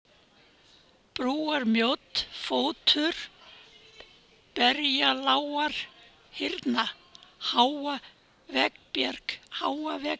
Brúarmjódd, Fótur, Berjalágarhyrna, Háa-Vegbjarg